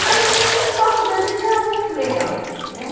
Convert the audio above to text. Mas o papo da gente era muito legal, né?